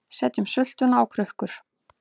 Setjum sultuna á krukkur